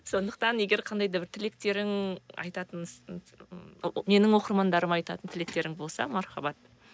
сондықтан егер қандай да бір тілектерің айтатын менің оқырмандарыма айтатын тілектерің болса мархабат